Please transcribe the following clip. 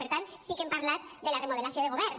per tant sí que hem parlat de la remodelació de govern